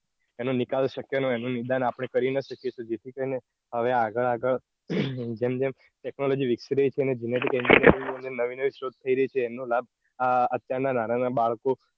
એનો નિકાલ શક્ય ના હોય એનો નિકાલ આપણે કરી ન શકીયે. તો જેથી કરીને હવે આગળ આગળ જેમ જેમ technology વિકસી રહી છે. અને genetic engineering નો અને નવી નવી શોધ થઇ રહી છે. એનો લાભ અત્યાર ના નાના નાના બાળકો